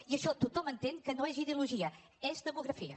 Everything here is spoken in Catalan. i això tothom entén que no és ideologia és demografia